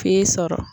F'i sɔrɔ